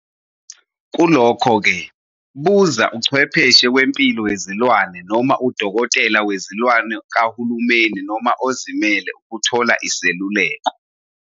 Kulokho-ke buza uchwepheshe wempilo yezilwane noma udokotela wezilwane kahulumeni noma ozimele ukuthola iseluleko.